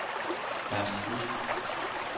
Ernst Busk